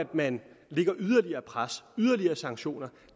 man lægger yderligere pres yderligere sanktioner